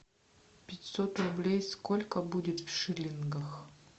пятьсот рублей сколько будет в шиллингах